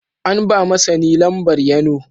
An ba ma sani Lambar Yano.